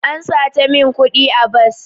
An sata min kudi a bas.